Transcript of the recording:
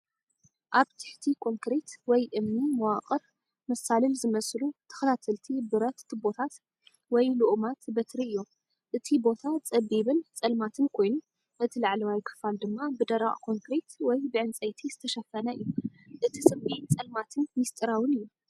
ኣብ ትሕቲ ኮንክሪት ወይ እምኒ መዋቕር መሳልል ዝመስሉ ተኸታተልቲ ብረት ቱቦታት ወይ ልኡማት በትሪ እዮም። እቲ ቦታ ጸቢብን ጸልማትን ኮይኑ፡ እቲ ላዕለዋይ ክፋል ድማ ብደረቕ ኮንክሪት ወይ ብዕንጸይቲ ዝተሸፈነ እዩ። እቲ ስምዒት ጸልማትን ምስጢራውን እዩ።